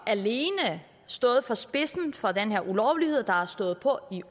alene stået i for spidsen for den her ulovlighed der har stået på i